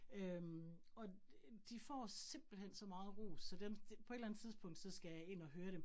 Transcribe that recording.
Øh og de får simpelthen så meget ros, så dem på et eller andet tidspunkt, så skal jeg ind og høre dem